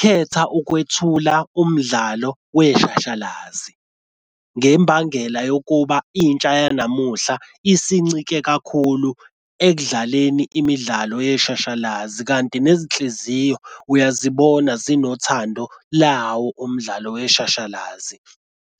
Khetha ukwethula umdlalo weshashalazi ngembangela yokuba intsha yanamuhla isincike kakhulu ekudlaleni imidlalo yeshashalazi kanti nezinhliziyo uyazibona zinothando lawo umdlalo weshashalazi.